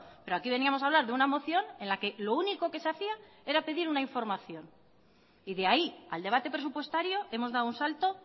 pero aquí veníamos a hablar de una moción en la que lo único que se hacía era pedir una información y de ahí al debate presupuestario hemos dado un salto